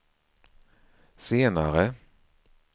senare